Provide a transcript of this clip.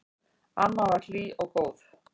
Amma var hlý og góð.